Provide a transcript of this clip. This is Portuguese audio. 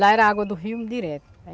Lá era água do rio direto.